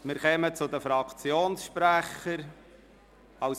Wir kommen zu den Fraktionssprechern.